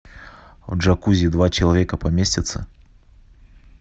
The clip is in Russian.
в джакузи два человека поместятся